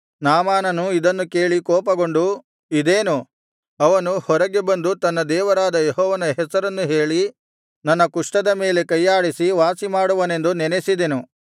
ನಾಮಾನನು ಇದನ್ನು ಕೇಳಿ ಕೋಪಗೊಂಡು ಇದೇನು ಅವನು ಹೊರಗೆ ಬಂದು ತನ್ನ ದೇವರಾದ ಯೆಹೋವನ ಹೆಸರನ್ನು ಹೇಳಿ ನನ್ನ ಕುಷ್ಠದ ಮೇಲೆ ಕೈಯಾಡಿಸಿ ವಾಸಿಮಾಡುವನೆಂದು ನೆನಸಿದೆನು